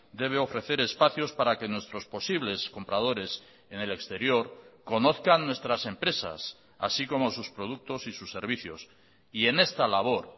debe ofrecer espacios para que nuestros posibles compradores en el exterior conozcan nuestras empresas así como sus productos y sus servicios y en esta labor